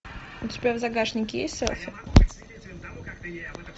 у тебя в загашнике есть селфи